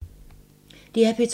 DR P2